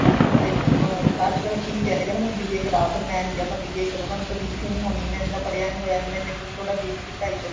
ਅੱਜਕਲ ਕੀ value ਕਹਿਣਾ ਮੈਨੂੰ BA ਕਰ ਮੈਂ BA ਕਰੁਂਗਾ ਮੇਰੇ ਤੋਂ BCA ਨੀ ਹੋਣੀ ਪੜ੍ਹਿਆ ਨੀ ਹੈਗਾ ਥੋੜਾ weak ਸੀ ਪੜਾਈ ਚ